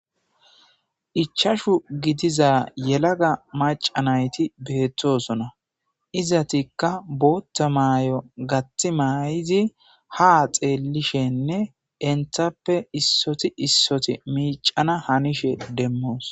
Ichashu gidiza yalagga macca nati dessona izatikka botha mayo toho gathi mayidi ha xelishene enittappe issoti issoti miccana hanishin demosi.